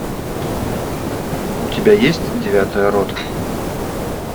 у тебя есть девятая рота